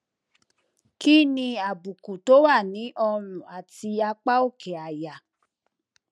kí ni àbùkù tó wà ní ọrùn àti apá òkè àyà